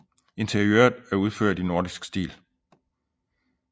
Interiøret er udført i nordisk stil